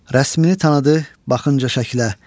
Rəsmimi tanıdı, baxınca şəklə.